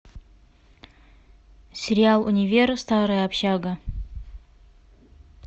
сериал универ старая общага